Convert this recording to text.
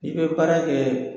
I bɛ baara kɛ